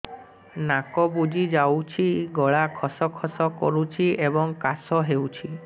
ନାକ ବୁଜି ଯାଉଛି ଗଳା ଖସ ଖସ କରୁଛି ଏବଂ କାଶ ହେଉଛି